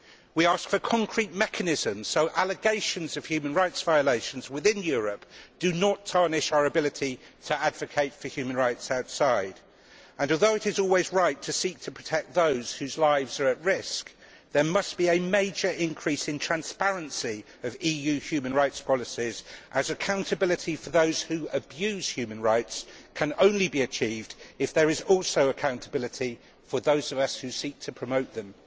We ask for concrete mechanisms so that allegations of human rights violations within Europe do not compromise our ability to promote human rights outside. Although it is always right to seek to protect those whose lives are at risk, there must be a major increase in the transparency of EU human rights policies, as accountability for those who abuse human rights can only be achieved if there is also accountability for those of us who seek to promote them.